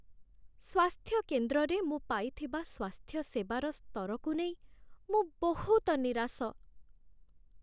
ସ୍ୱାସ୍ଥ୍ୟ କେନ୍ଦ୍ରରେ ମୁଁ ପାଇଥିବା ସ୍ୱାସ୍ଥ୍ୟସେବାର ସ୍ତରକୁ ନେଇ ମୁଁ ବହୁତ ନିରାଶ।